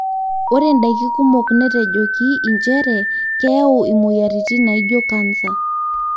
ore ndaikii kumok netejokie incheree keyau imoyiaritin naijo cancer